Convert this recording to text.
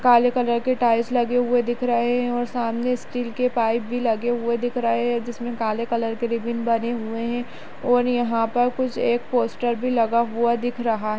काले कलर के टाइल्स लगे हुए दिख रहें हैं और सामने स्टील के पाइप भी लगे हुए दिख रहें हैं जिसमे काले कलर के रिबन बने हुए हैं और यहाँ पर कुछ एक पोस्टर भी लगा हुआ दिख रहा--